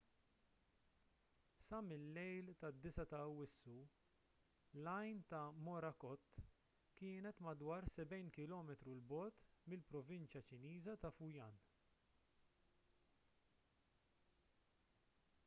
sa mil-lejl tad-9 ta' awwissu l-għajn ta' morakot kienet madwar sebgħin kilometru l bogħod mill-provinċja ċiniża ta' fujian